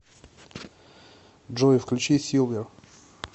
джой включи силвер